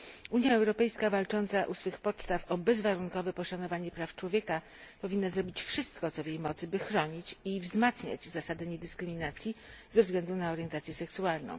Unia Europejska, walcząca u swych podstaw o bezwarunkowe poszanowanie praw człowieka, powinna zrobić wszystko, co w jej mocy by chronić i wzmacniać zasadę niedyskryminacji ze względu na orientację seksualną.